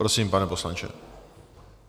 Prosím, pane poslanče.